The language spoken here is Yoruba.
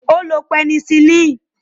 Ó lo pẹnisilínì